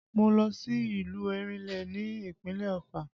Mo lọ sí ìlú Erinle ní ìpínlẹ̀ Ofà